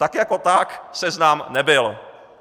Tak jako tak seznam nebyl.